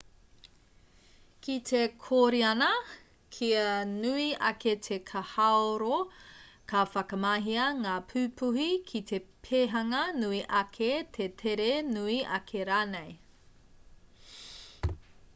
ki te kōriana kia nui ake te kahaoro ka whakamahia ngā pupuhi ki te pēhanga nui ake te tere nui ake rānei